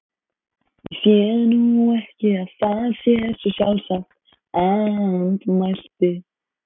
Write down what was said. Ég sé nú ekki að það sé svo sjálfsagt- andmælti